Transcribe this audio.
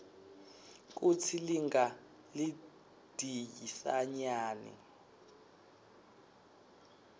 kutsi linga lidhisanyani